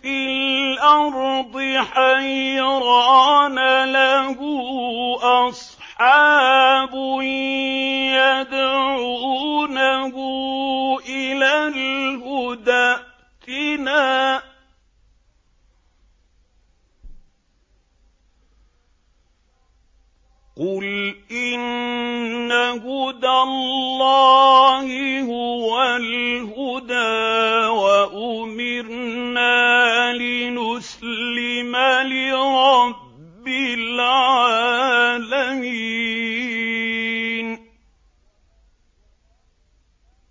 فِي الْأَرْضِ حَيْرَانَ لَهُ أَصْحَابٌ يَدْعُونَهُ إِلَى الْهُدَى ائْتِنَا ۗ قُلْ إِنَّ هُدَى اللَّهِ هُوَ الْهُدَىٰ ۖ وَأُمِرْنَا لِنُسْلِمَ لِرَبِّ الْعَالَمِينَ